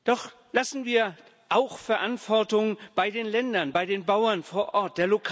Doch lassen wir auch Verantwortung bei den Ländern, bei den Bauern vor Ort.